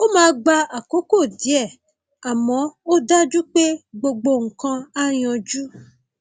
ó máa gba àkókò díẹ àmọ ó dájú pé gbogbo nǹkan á yanjú